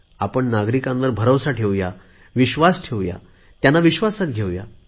आपण नागरिकांवर भरोसा ठेवू विश्वास ठेवू त्यांना विश्वासात घेऊ